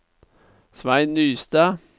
Svein Nystad